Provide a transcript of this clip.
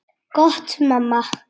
Gott mamma.